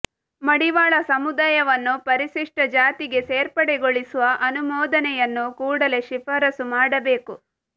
ಮಡಿವಾಳ ಸಮುದಾಯವನ್ನು ಪರಿಶಿಷ್ಟ ಜಾತಿಗೆ ಸೇರ್ಪಡೆಗೊಳಿಸುವ ಅನುಮೋದನೆಯನ್ನು ಕೂಡಲೇ ಶಿಫಾರಸು ಮಾಡಬೇಕು